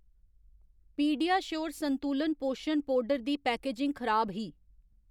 PediaSure संतुलत पोशन powder दी पैकेजिंग खराब ही।